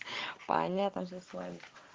понятно всё с вами